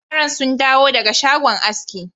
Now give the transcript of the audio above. Yaran sun dawo daga shagon askin.